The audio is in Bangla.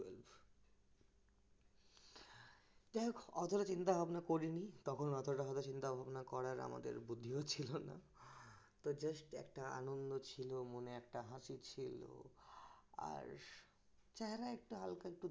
যাই হোক অতটা চিন্তাভাবনা করিনি তখন হয়তো অতটা চিন্তাভাবনা করার আমাদের বুদ্ধিও ছিল না তো just একটা আনন্দ ছিল মনে একটা হাসি ছিল আর একটু হালকা একটু